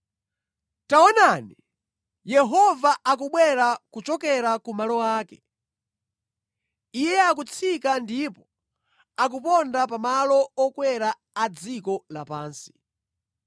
Taonani! Yehova akubwera kuchokera ku malo ake; Iye akutsika ndipo akuponda pa malo okwera a dziko lapansi.